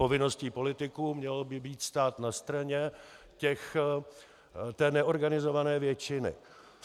Povinností politiků by mělo být stát na straně té neorganizované většiny.